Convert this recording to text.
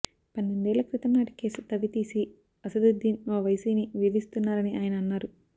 పన్నెండేళ్ల క్రితం నాటి కేసు తవ్వి తీసి అసదుద్దీన్ ఓవైసీని వేధిస్తున్నారని ఆయన అన్నారు